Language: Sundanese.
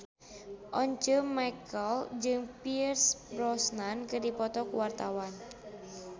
Once Mekel jeung Pierce Brosnan keur dipoto ku wartawan